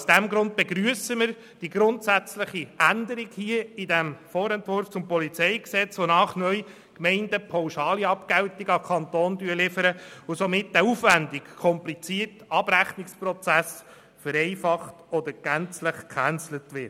Aus diesem Grund begrüssen wir die grundsätzliche Änderung im Vorentwurf zum PolG, wonach neu die Gemeinden pauschale Abgeltungen an den Kanton liefern und somit der aufwendige, komplizierte Abrechnungsprozess vereinfacht oder gänzlich gecancelt wird.